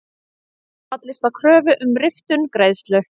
Fallist á kröfu um riftun greiðslu